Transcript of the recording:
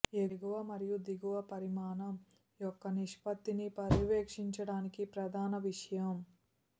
ఎగువ మరియు దిగువ పరిమాణం యొక్క నిష్పత్తిని పర్యవేక్షించడానికి ప్రధాన విషయం